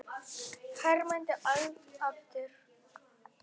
Hermdi vel eftir.